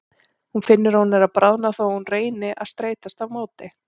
Hún finnur að hún er að bráðna þó að hún reyni að streitast á móti.